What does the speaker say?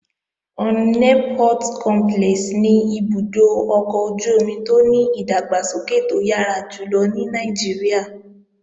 Onne Port Complex ni ibùdó ọkọ̀ ojú-omi tó ní ìdàgbàsókè tó yára jùlọ ní Nàìjíríà.